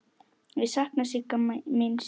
Ég sakna Sigga míns.